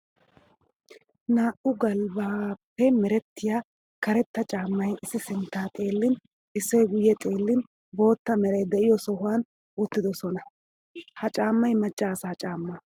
Naa'u galbbappe merettiya karetta caamay issi sintta xeellin issoy guye xeellin boota meray de'iyo sohuwan uttidosonna. Ha caamay maca asaa caama.